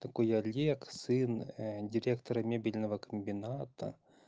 такой олег сын директора мебельного комбината